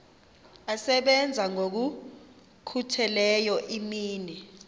asebenza ngokokhutheleyo imini